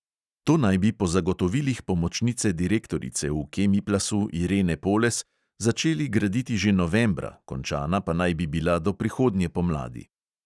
To naj bi po zagotovilih pomočnice direktorice v kemiplasu irene poles začeli graditi že novembra, končana pa naj bi bila do prihodnje pomladi.